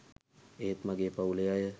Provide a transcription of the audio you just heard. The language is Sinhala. ඒත් මගේ පවුලේ අය